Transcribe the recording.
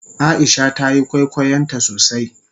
Aisha tayi kwaikwayon tasosai.